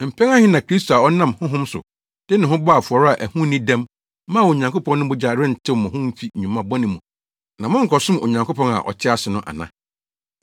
mpɛn ahe na Kristo a ɔnam Honhom so, de ne ho bɔɔ afɔre a ɛho nni dɛm maa Onyankopɔn no mogya rentew mo ho mfi nnwuma bɔne mu, na monkɔsom Onyankopɔn a ɔte ase no ana?